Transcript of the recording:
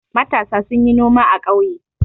Matasa sun yi noma a ƙauye.